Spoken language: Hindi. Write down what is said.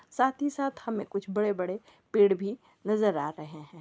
साथ ही साथ हमें कुछ बड़े-बड़े पेड़ भी नज़र आ रहें हैं।